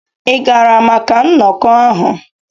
Ị gara maka nnọkọ ahụ?